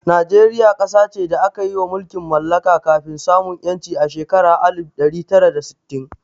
Najeriya ƙasa ce da aka yi ma mulkin mallaka kafin samun 'yanci a shekarar alif ɗari tara da sittin.